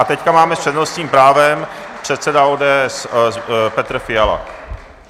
A teď máme s přednostním právem, předseda ODS Petr Fiala.